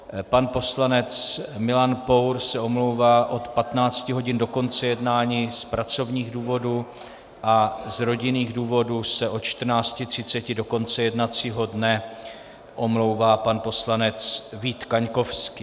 Pan poslanec Milan Pour se omlouvá od 15 hodin do konce jednání z pracovních důvodů a z rodinných důvodů se od 14.30 do konce jednacího dne omlouvá pan poslanec Vít Kaňkovský.